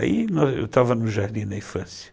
Aí eu estava no Jardim da Infância.